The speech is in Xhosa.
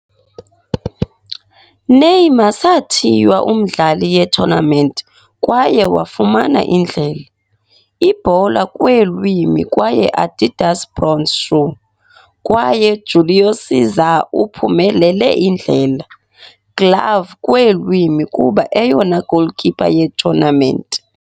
Neymar sathiywa umdlali ye-tournament kwaye wafumana Indlela- Ibhola Kweelwimi kwaye Adidas Bronze Shoe, kwaye Júlio César uphumelele Indlela- Glove Kweelwimi kuba eyona goalkeeper ye-tournament.